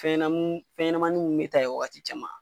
Fɛnɲɛɔnamu fɛnɲɛnɛmanin mun bɛ ta yen wagati caman.